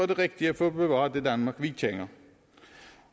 det rigtige for at bevare det danmark vi kender